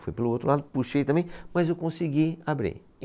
Fui pelo o outro lado, puxei também, mas eu consegui abrir.